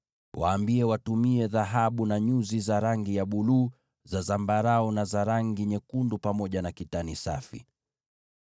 Waambie watumie dhahabu na nyuzi za rangi ya buluu, za zambarau, na za rangi nyekundu pamoja na kitani safi.